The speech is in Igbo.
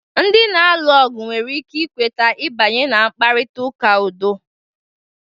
Ndị na-alụ ọgụ nwere ike ikweta ibanye na mkparịta ụka udo.